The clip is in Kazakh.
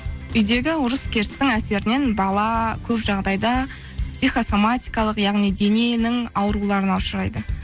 үйдегі ұрыс керістің әсерінен бала көп жағдайда психосаматикалық яғни дененің ауруларына ұшырайды